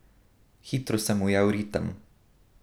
Hitro sem ujel ritem.